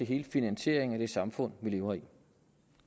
hele finansieringen af det samfund vi lever i